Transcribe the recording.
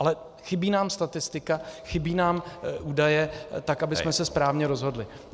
Ale chybí nám statistika, chybí nám údaje, tak abychom se správně rozhodli.